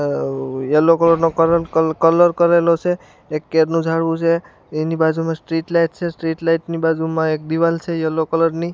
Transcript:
Yellow colour નો colour colour કરેલો છે એક કેડનું ઝાડવું છે એની બાજુમાં સ્ટ્રીટ લાઈટ છે સ્ટ્રીટ લાઈટ ની બાજુમાં એક દીવાલ છે યેલો કલર ની.